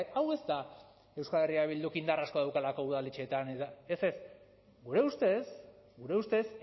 hau ez da euskal herria bilduk indar asko daukalako udaletan eta ez ez gure ustez gure ustez